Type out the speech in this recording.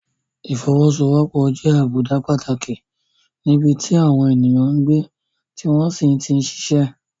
Ìfọwọ́sowọ́pọ̀ jẹ́ àbùdá pàtàkì níbi tí àwọn ènìyàn ń gbé tí wọ́n sì ti ń ṣiṣẹ́.